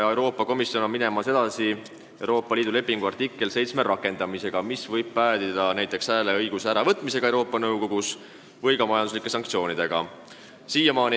Euroopa Komisjon läheb edasi Euroopa Liidu lepingu artikkel 7 rakendamisega, mis võib päädida näiteks hääleõiguse äravõtmisega Euroopa Nõukogus või ka majanduslike sanktsioonidega.